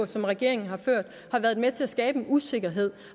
som regeringen har ført har været med til at skabe en usikkerhed